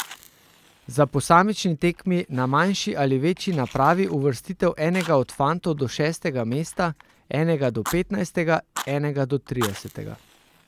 Za posamični tekmi na manjši in na večji napravi uvrstitev enega od fantov do šestega mesta, enega do petnajstega, enega do tridesetega.